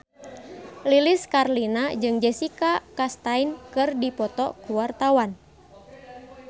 Lilis Karlina jeung Jessica Chastain keur dipoto ku wartawan